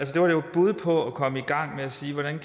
bud på komme i gang med at sige hvordan